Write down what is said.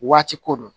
Waati ko don